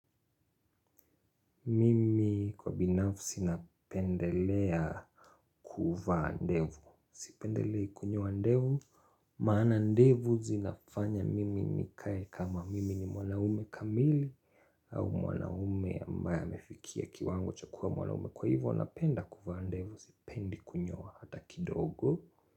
Mimi kwa binafsi napendelea kuvaa ndevu. Sipendelei kunyoa ndevu. Maana ndevu zinafanya mimi nikae kama mimi ni mwanaume kamili au mwanaume ambaye amefikia kiwango cha kuwa mwanaume. Kwa hivo napenda kuvaa ndevu, sipendi kunyoa hata kidogo.